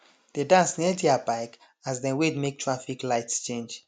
dey dance near their bike as dem wait make traffic light change